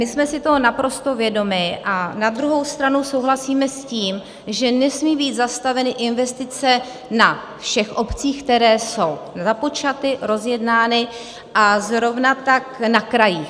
My jsme si toho naprosto vědomi, a na druhou stranu souhlasíme s tím, že nesmí být zastaveny investice na všech obcích, které jsou započaty, rozjednány, a zrovna tak na krajích.